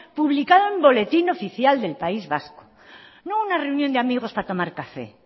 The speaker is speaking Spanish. publicado en boletín oficial del país vasco no una reunión de amigos para tomar café